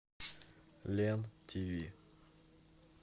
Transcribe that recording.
лен тв